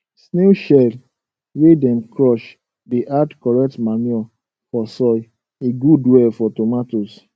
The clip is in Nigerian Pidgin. snail shell wey dem crush dey add correct manure for soil e good well for tomatoes